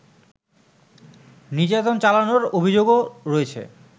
নির্যাতন চালানোর অভিযোগও রয়েছে